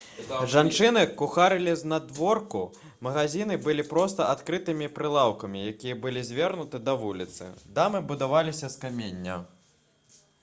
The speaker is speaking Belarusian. жанчыны кухарылі знадворку магазіны былі проста адкрытымі прылаўкамі якія былі звернуты да вуліцы дамы будаваліся з камення